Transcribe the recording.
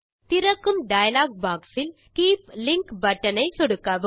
திறக்கும் dialog box இல் keep link button ஐ சொடுக்கவும்